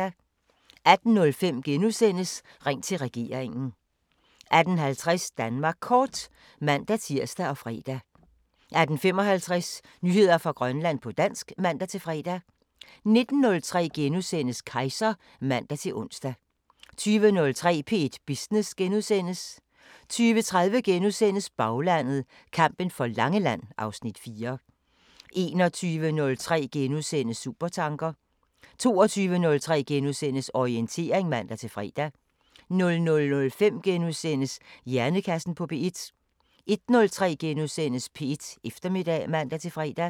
18:05: Ring til regeringen * 18:50: Danmark Kort (man-tir og fre) 18:55: Nyheder fra Grønland på dansk (man-fre) 19:03: Kejser *(man-ons) 20:03: P1 Business * 20:30: Baglandet: Kampen for Langeland (Afs. 4)* 21:03: Supertanker * 22:03: Orientering *(man-fre) 00:05: Hjernekassen på P1 * 01:03: P1 Eftermiddag *(man-fre)